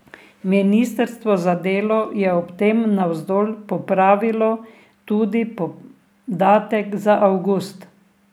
Ministrstvo za delo je ob tem navzdol popravilo tudi podatek za avgust.